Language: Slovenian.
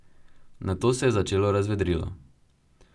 Nato se je začelo razvedrilo.